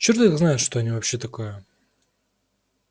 черт их знает что они вообще такое